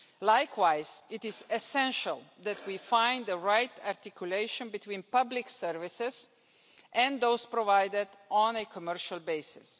Likewise, it is essential that we find the right articulation between public services and those provided on a commercial basis.